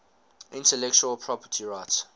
intellectual property rights